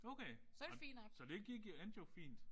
Okay. Ja. Så det gik endte jo fint